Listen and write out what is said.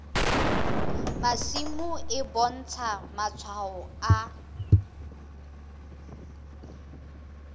masimo e bontsha matshwao a